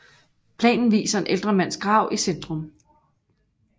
Planen viser en ældre mands grav i centrum